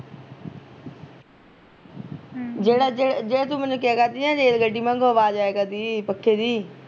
ਹਮ ਜਿਹੜਾ ਜਿਹੜਾ ਤੂੰ ਮੈਨੂੰ ਕਿਹਾਂ ਕਰਦੀ ਨਾ ਰੇਲ ਗੱਡੀ ਮੰਗਊ ਆਵਾਜ਼ ਆਇਆ ਕਰਦੀ, ਪੱਖੇ ਦੀ